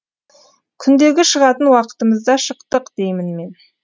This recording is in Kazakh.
күндегі шығатын уақытымызда шықтық деймін мен